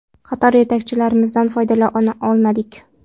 Qator yetakchilarimizdan foydalana olmadik.